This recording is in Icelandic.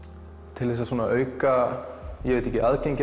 til að auka